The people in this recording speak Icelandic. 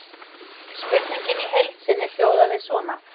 Spurningin í heild sinni hljóðaði svona: